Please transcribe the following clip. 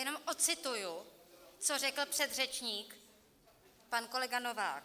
Jenom odcituji, co řekl předřečník pan kolega Novák.